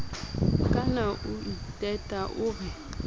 kaana o iteta o re